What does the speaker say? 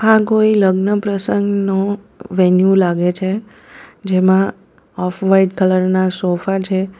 આ કોઈ લગ્ન પ્રસંગ નો વેન્યુ લાગે છે જેમાં ઓફ વાઈટ કલર ના સોફા છે.